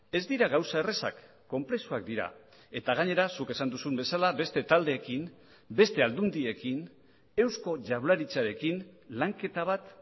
ez dira gauza errazak konplexuak dira eta gainera zuk esan duzun bezala beste taldeekin beste aldundiekin eusko jaurlaritzarekin lanketa bat